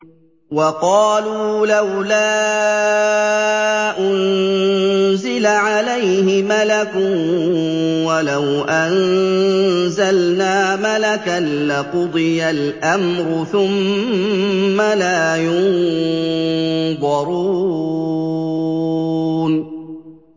وَقَالُوا لَوْلَا أُنزِلَ عَلَيْهِ مَلَكٌ ۖ وَلَوْ أَنزَلْنَا مَلَكًا لَّقُضِيَ الْأَمْرُ ثُمَّ لَا يُنظَرُونَ